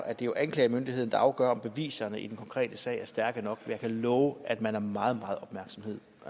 at det jo er anklagemyndigheden der afgør om beviserne i den konkrete sag er stærke nok jeg kan love at man er meget